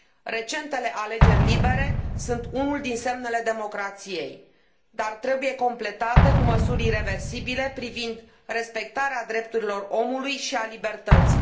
Recentele alegeri libere sunt unul din semnele democrației, dar trebuie completate cu măsuri ireversibile privind respectarea drepturilor omului și a libertății.